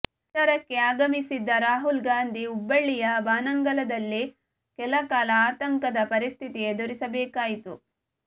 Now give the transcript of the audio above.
ಪ್ರಚಾರಕ್ಕೆ ಆಗಮಿಸಿದ್ದ ರಾಹುಲ್ ಗಾಂಧಿ ಹುಬ್ಬಳ್ಳಿಯ ಬಾನಂಗಳದಲ್ಲೇ ಕೆಲಕಾಲ ಆತಂಕದ ಪರಿಸ್ಥಿತಿ ಎದುರಿಸಬೇಕಾಯಿತು